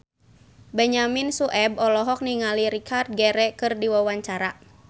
Benyamin Sueb olohok ningali Richard Gere keur diwawancara